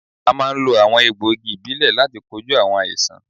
À máa ń lo àwọn egbò igi ìbílè láti kojú àwọn àìsàn